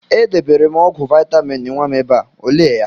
E debere m ọgwụ vaịtamịn nwa m ebe a, o lee ya?